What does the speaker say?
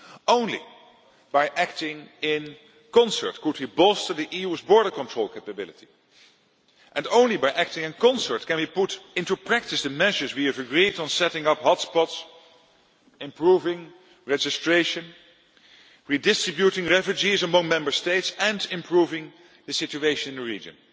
Only by acting in concert could we bolster the EU's border control capability. And only by acting in concert can we put into practice the measures we have agreed on setting up hot spots, improving registration, redistributing refugees among Member States and improving the situation in the region.